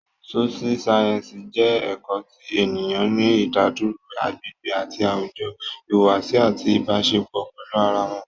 Sóṣú sáyẹ́ǹsì jẹ́ ẹ̀kọ́ ti ènìyàn ní ìdádúró, agbègbè àti àwùjọ, ìhùwàsí àti Ìbáṣepọ̀ pẹ̀lú ara wọn